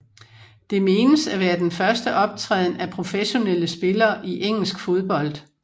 Det menes at være den første optræden af professionelle spillere i engelsk fodbold